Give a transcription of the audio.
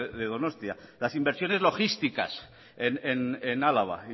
de donostia las inversiones logísticas en álava